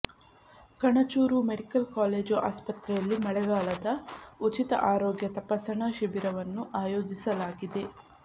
Kanachur medical college ಆಸ್ಪತ್ರೆಯಲ್ಲಿ ಮಳೆಗಾಲದ ಉಚಿತ ಆರೋಗ್ಯ ತಪಾಸಣಾ ಶಿಬಿರನ್ನು ಆಯೋಜಿಸಲಾಗಿದೆ